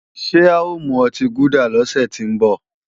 Ṣé a ò mu ọtí gúdà lọ́sẹ̀ tí ń bọ̀?